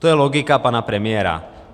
To je logika pana premiéra.